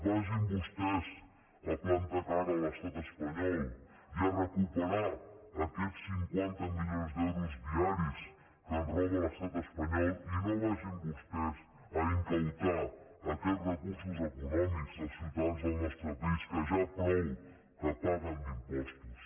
vagin vostès a plantar cara a l’estat espanyol i a recuperar aquests cinquanta milions d’euros diaris que ens roba l’estat espanyol i no vagin vostès a confiscar aquests recursos econòmics dels ciutadans del nostre país que ja prou que paguen d’impostos